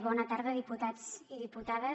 bona tarda diputats i diputades